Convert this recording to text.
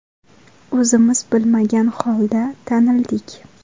O‘zimiz bilmagan holda tanildik.